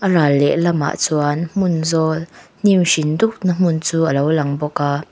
a ral leh lamah chuan hmun zawl hnim hring dup na hmun chu alo lang bawk a.